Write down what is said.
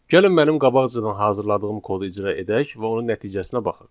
Gəlin mənim qabaqcadan hazırladığım kodu icra edək və onun nəticəsinə baxaq.